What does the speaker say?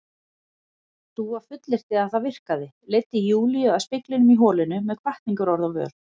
Dúa fullyrti að það virkaði, leiddi Júlíu að speglinum í holinu með hvatningarorð á vör.